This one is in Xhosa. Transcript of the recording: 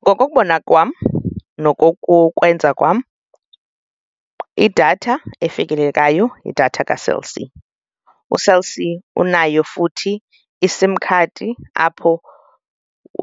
Ngokokubona kwam nokokukwenza kwam, idatha efikelelekayo yidatha kaCell C. UCell C unayo futhi iSIM card apho